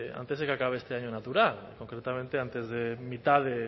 antes de que acabe este año natural concretamente antes de mitad